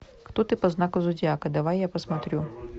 кто ты по знаку зодиака давай я посмотрю